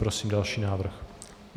Prosím další návrh.